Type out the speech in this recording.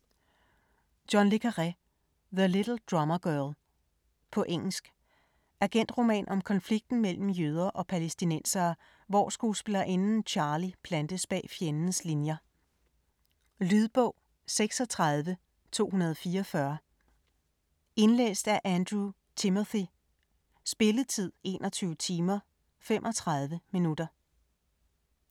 Le Carre, John: The little drummer girl På engelsk. Agentroman om konflikten mellem jøder og palæstinensere, hvor skuespillerinden Charlie plantes bag fjendens linier. Lydbog 36244 Indlæst af Andrew Timothy Spilletid: 21 timer, 35 minutter.